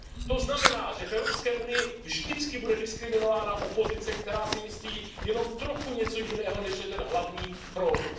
To znamená, že v Evropské unii vždycky bude diskriminována opozice, která si myslí jenom trochu něco jiného, než je ten hlavní proud.